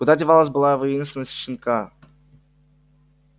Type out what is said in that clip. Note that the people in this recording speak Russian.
куда девалась былая воинственность щенка